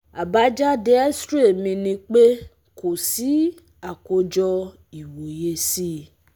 àbájáde xray mi ni pe kò sí akojo iwoye si